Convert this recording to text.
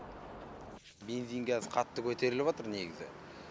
бензин кәзір қатты көтеріліватыр негізі